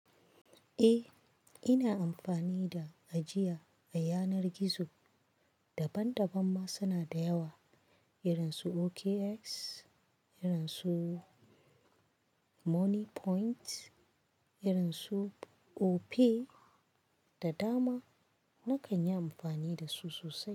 Eh, ina amfani da ajiya a yanar gizo. Daban-daban ma suna da yawa irin su OKX, irin su Money Point, irin su Opay da dama. Na kan yi amfani da su sosai.